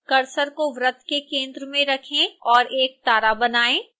cursor को वृत्त के केंद्र में रखें और एक तारा बनाएँ